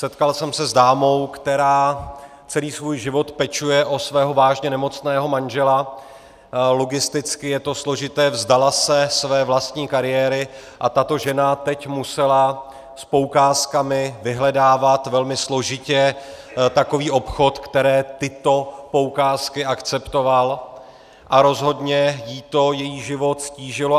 Setkal jsem se s dámou, která celý svůj život pečuje o svého vážně nemocného manžela, logisticky je to složité, vzdala se své vlastní kariéry, a tato žena teď musela s poukázkami vyhledávat velmi složitě takový obchod, který tyto poukázky akceptoval, a rozhodně jí to její život ztížilo.